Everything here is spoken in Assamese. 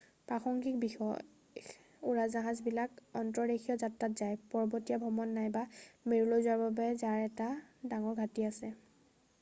প্ৰাসংগিক বিশেষ উৰাজাহাজবিলাক অন্তৰদেশীয় যাত্ৰাত যায় পৰ্বতীয়া ভ্ৰমণ নাইবা মেৰুলৈ যোৱাৰ বাবে যাৰ এটা ডাঙৰ ঘাঁটি আছে